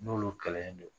N'olu kɛlɛ in don